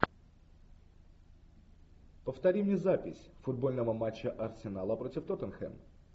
повтори мне запись футбольного матча арсенала против тоттенхэм